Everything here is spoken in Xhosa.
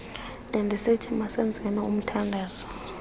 bendisithi masenzeni umthandazo